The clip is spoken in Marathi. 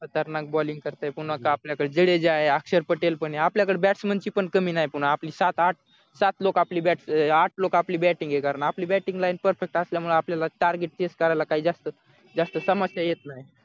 खतरनाक balling करतोय कोण आता आपल्याकडे जडेजा आहे अक्षर पटेल पण आपल्याकडे batsman ची पण कमी नाही पण आपली सात आठ सात लोक आपली आठ लोक आपली bating हे कारण आपली bating line perfect असल्यामुळे आपल्याला target chase करायला काही जास्त तमाशा येत नाही